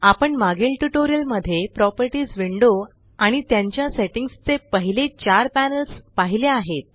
आपण मागील ट्यूटोरियल मध्ये प्रॉपर्टीस विंडो आणि त्यांच्या सेट्टिंग्स चे पहिले चार पॅनल्स पाहिले आहेत